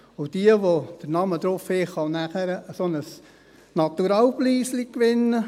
Diejenigen, die den Namen draufhaben, können dann einen solchen kleinen Naturalpreis gewinnen.